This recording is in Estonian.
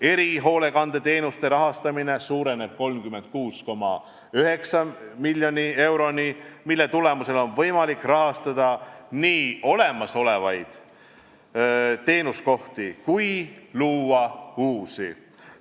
Erihoolekandeteenuste rahastamine suureneb 36,9 miljoni euroni, mille tulemusel on võimalik rahastada nii olemasolevaid teenuskohti kui luua uusi.